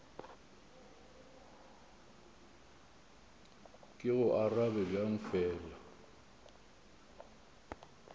ke go arabe bjang fela